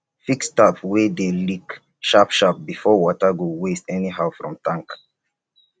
fix tap wey dey leak sharp sharp bifor water go waste anyhow from tank